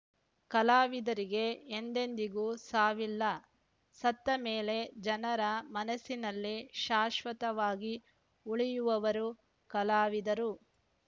ಕಲಾವಿದರಿಗೆ ಎಂದೆದಿಗೂ ಸಾವಿಲ್ಲ ಸತ್ತ ಮೇಲೆ ಜನರ ಮನಸ್ಸಿನಲ್ಲಿ ಶಾಶ್ವತವಾಗಿ ಉಳಿಯುವವರು ಕಲಾವಿದರು